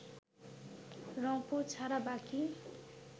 রংপুর ছাড়া বাকি